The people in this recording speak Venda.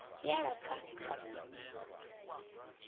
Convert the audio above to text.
ya lapfa kathihi na hafu